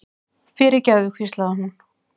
fyrirgefðu, hvíslaði hún.